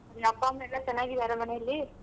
ನಿನ್ ಅಪ್ಪ ಅಮ್ಮ ಎಲ್ಲಾ ಚೆನ್ನಾಗಿದ್ದಾರ ಮನೆಯಲ್ಲಿ?